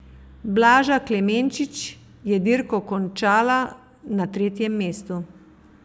Blaža Klemenčič je dirko končala na tretjem mestu.